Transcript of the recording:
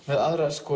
með aðra